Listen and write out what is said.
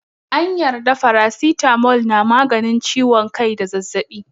An yarda faracitamol na maganin ciwon kai da zazzaɓi.